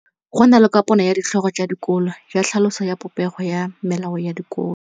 Go na le kopanô ya ditlhogo tsa dikolo ya tlhaloso ya popêgô ya melao ya dikolo.